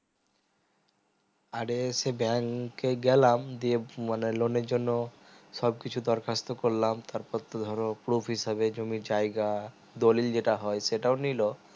অরে সে bank কে গেলাম দিয়ে মানে loan এর জন্য সব কিছু দরখাস্ত করলকাম তার পর তো ধরো proof হিসাবে তুমি জায়গা দলিল যেটা হয় সেটা ও নিলো